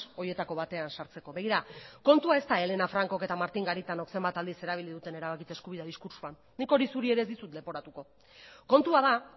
horietako batean sartzeko begira kontua ez da helena francok eta martin garitanok zenbat aldiz erabili duten erabakitze eskubidea diskurtsoan nik hori zuri ere ez dizut leporatuko kontua da